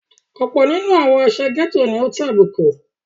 Ọ̀pọ̀ nínú àwọn àsà gẹ́tò ni ó tàbùkù.